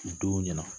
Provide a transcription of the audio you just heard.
U don ɲɛna